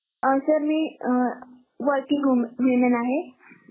अह सर मी अं Working woman women आहे. हो सर.